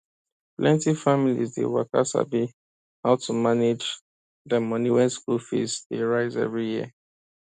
plenti families dey waka sabi how to manage dem money wen school fees dey rise every year